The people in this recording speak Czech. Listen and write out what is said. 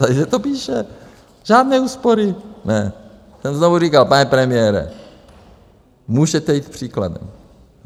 Takže to píše - žádné úspory, ne. znovu říkal - pane premiére, můžete jít příkladem.